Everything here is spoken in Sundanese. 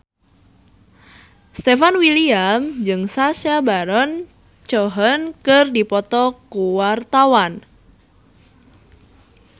Stefan William jeung Sacha Baron Cohen keur dipoto ku wartawan